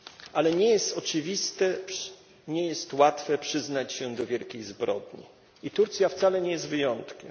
Ale nie jest oczywiste, nie jest łatwe przyznanie się do wielkich zbrodni i Turcja wcale nie jest wyjątkiem.